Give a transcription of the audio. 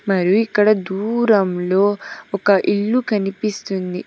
మరి ఇక్కడ దూరంలో ఒక ఇల్లు కనిపిస్తుంది.